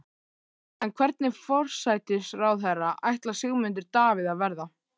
En hvernig forsætisráðherra ætlar Sigmundur Davíð að verða?